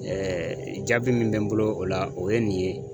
jaabi min bɛ n bolo o la o ye nin ye.